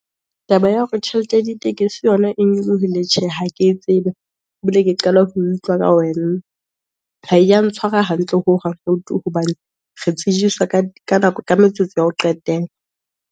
Taba ya hore tjhelete ya ditekesi yona e nyolohile, tjhe ha ke e tsebe, ebile ke qala ho utlwa ka . Ha e ya ntshware hantle hohang, ho tu, hobane re tsejiswa ka metsotso ya ho qetela.